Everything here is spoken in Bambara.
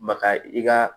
Maka i ka